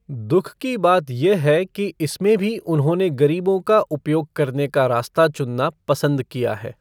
दुख की बात ये है कि इसमें भी उन्होंने ग़रीबों का उपयोग करने का रास्ता चुनना पसंद किया है।